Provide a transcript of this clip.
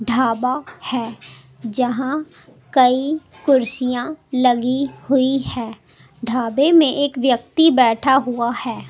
ढाबा है जहां कई कुर्सियां लगी हुई हैं ढाबे में एक व्यक्ति बैठा हुआ है।